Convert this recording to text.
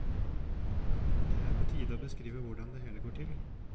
Det er på tide å beskrive hvordan det hele går til.